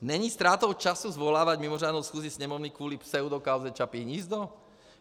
Není ztrátou času svolávat mimořádnou schůzi sněmovny kvůli pseudokauze Čapí hnízdo?